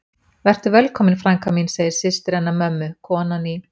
Vertu velkomin frænka mín, segir systir hennar mömmu, konan í